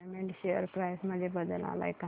Raymond share price मध्ये बदल आलाय का